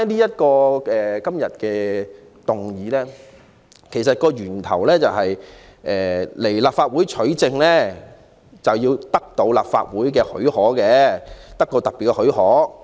說回今天的議案，其實源於就某些事件向立法會取證須請求立法會給予特別許可。